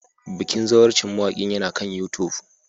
Bikin zawarcin mawakin yana kan YouTube